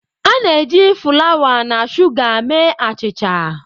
A na-eji fulawa na shuga mee achicha.